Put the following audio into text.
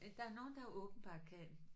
Der er nogen der åbenbart kan